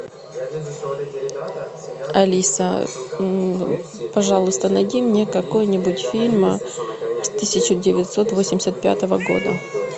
алиса пожалуйста найди мне какой нибудь фильм с тысяча девятьсот восемьдесят пятого года